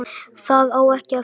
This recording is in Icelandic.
Það á ekki að fela.